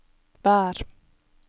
vær